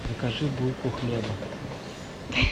закажи булку хлеба